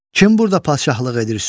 Kim burda padşahlıq edir, söyləyin?